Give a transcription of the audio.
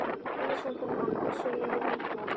Þannig stendur á að hann Össur er í vandræðum.